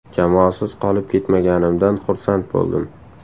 Jamoasiz qolib ketmaganimdan xursand bo‘ldim.